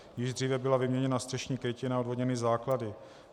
Již dříve byla vyměněna střešní krytina a odvodněny základy.